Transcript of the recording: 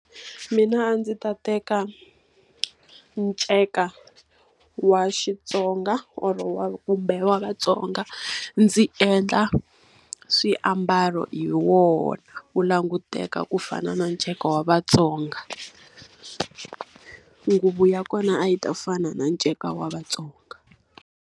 Mina a ndzi ta teka nceka wa Xitsonga or-o wa kumbe wa vaTsonga, ndzi endla swiambalo hi wona. Wu languteka ku fana na nceka wa vaTsonga. Nguvu ya kona a yi ta fana na nceka wa vaTsonga.